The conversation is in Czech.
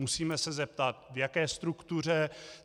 Musíme se zeptat, v jaké struktuře.